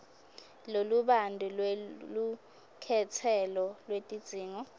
lolubanti lwelukhetselo lwetidzingo